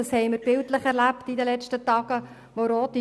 Das haben wir in letzten Tagen bildlich erlebt: